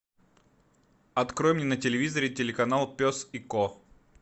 открой мне на телевизоре телеканал пес и ко